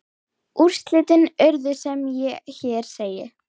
Úrslit urðu sem hér segir